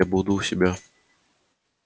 я буду у себя